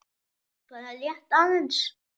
Bara rétt aðeins.